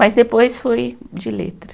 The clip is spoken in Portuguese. Mas depois foi de letra.